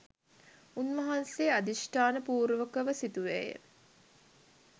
උන්වහන්සේ අධිෂ්ඨාන පූර්වකව සිතුවේය.